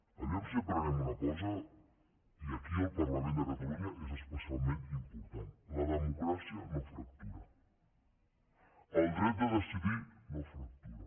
vejam si aprenem una cosa i aquí el parlament de catalunya és especialment important la democràcia no fractura el dret de decidir no fractura